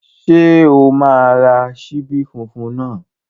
Ṣé o máa ra ṣíbí funfun náà?